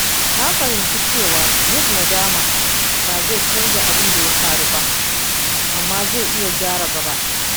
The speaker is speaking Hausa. Na fahimci cewa yin nadama ba zai canza abin da ya faru ba, amma zai iya gyara gaba.